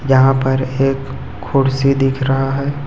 यहा पर एक खुर्सी दिख रहा है।